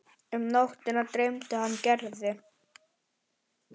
Um nóttina dreymdi hann Gerði.